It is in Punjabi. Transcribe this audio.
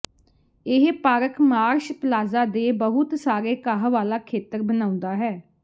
ਇਹ ਪਾਰਕ ਮਾਰਸ਼ ਪਲਾਜ਼ਾ ਦੇ ਬਹੁਤ ਸਾਰੇ ਘਾਹ ਵਾਲਾ ਖੇਤਰ ਬਣਾਉਂਦਾ ਹੈ